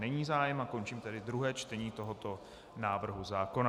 Není zájem, a končím tedy druhé čtení tohoto návrhu zákona.